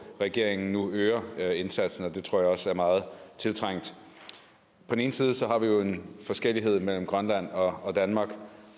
regeringen nu øger øger indsatsen og det tror jeg også er meget tiltrængt på den ene side har vi jo en forskellighed mellem grønland og danmark